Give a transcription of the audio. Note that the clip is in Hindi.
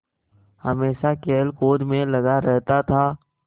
हमेशा खेलकूद में लगा रहता था